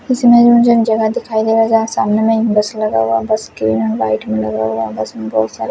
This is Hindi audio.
इस इमेज में मुझे जगह दिखाई दे रहा जहां सामने में एक बस लगा हुआ बस के वाइट में लगा हुआ बस में बहुत सारे--